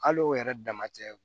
Al'o yɛrɛ dama cɛ